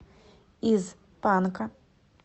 из панка